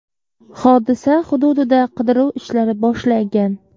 Hodisa hududida qidiruv ishlari boshlangan.